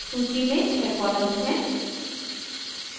सूची में छः columns हैं